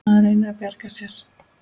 Maður reynir að bjarga sér.